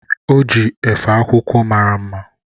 O ji efe akwụkwọ mara mma.